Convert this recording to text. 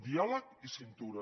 diàleg i cintura